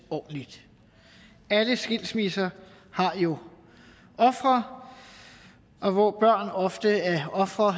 ordentligt alle skilsmisser har jo ofre og hvor børn ofte er ofre